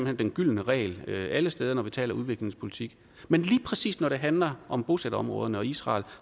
hen den gyldne regel alle steder når vi taler udviklingspolitik men lige præcis når det handler om bosætterområderne og israel